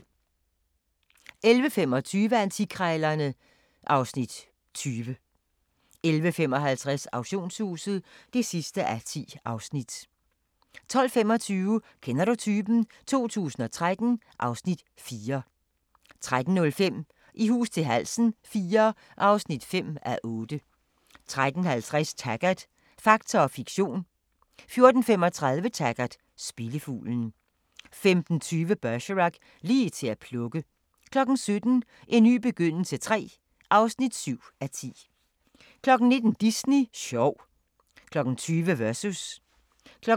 11:25: Antikkrejlerne (Afs. 20) 11:55: Auktionshuset (10:10) 12:25: Kender du typen? 2013 (Afs. 4) 13:05: I hus til halsen IV (5:8) 13:50: Taggart: Fakta og fiktion 14:35: Taggart: Spillefuglen 15:20: Bergerac: Lige til at plukke 17:00: En ny begyndelse III (7:10) 19:00: Disney sjov 20:00: Versus